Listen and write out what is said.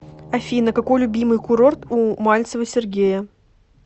афина какой любимый курорт у мальцева сергея